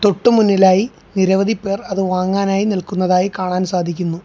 തൊട്ട് മുന്നിലായി നിരവധി പേർ അതു വാങ്ങാനായി നിൽക്കുന്നതായി കാണാൻ സാധിക്കുന്നു.